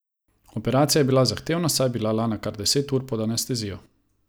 Operacija je bila zahtevna, saj je bila Lana kar deset ur pod anestezijo.